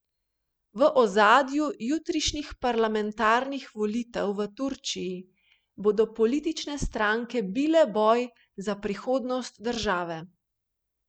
V ozadju jutrišnjih parlamentarnih volitev v Turčiji bodo politične stranke bile boj za prihodnost države.